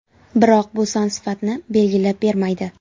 Biroq bu son sifatni belgilab bermaydi.